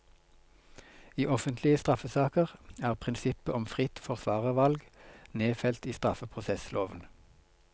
I offentlige straffesaker er prinsippet om fritt forsvarervalg, nedfelt i straffeprosessloven.